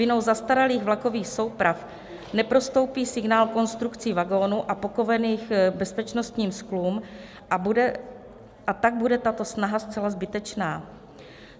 Vinou zastaralých vlakových souprav neprostoupí signál konstrukcí vagonů a pokovenými bezpečnostními skly, a tak bude tato snaha zcela zbytečná.